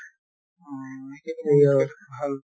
অহ ভাল